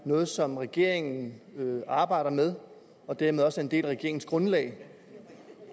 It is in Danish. noget som regeringen arbejder med og dermed også er en del af regeringsgrundlaget